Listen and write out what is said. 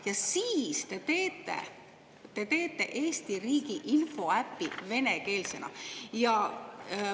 Ja siis te teete Eesti riigi infoäpi venekeelsena!